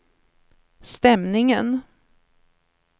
stämningen